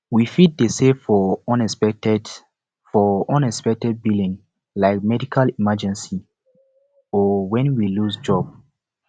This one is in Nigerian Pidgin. we fit dey save for unexpected for unexpected billing like medical emergency or when we lose job